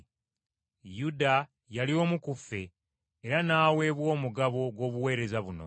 Yuda yali omu ku ffe, era n’aweebwa omugabo gw’obuweereza buno.”